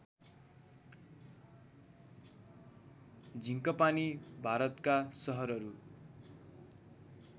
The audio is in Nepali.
झीँकपानी भारतका सहरहरू